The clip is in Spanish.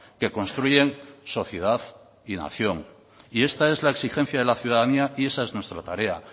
que construyen sociedad y nación y esta es la exigencia de la ciudadanía y esa es nuestra tarea